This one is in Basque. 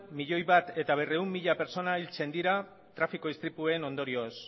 milioi bat berrehun mila pertsona hiltzen dira trafiko istripuen ondorioz